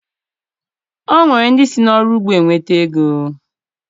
O nwere ndị si n'ọrụ ugbo enweta ego